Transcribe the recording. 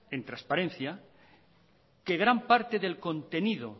en transparencia que gran parte del contenido